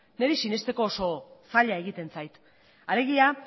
niri sinesteko oso zaila egiten zait alegia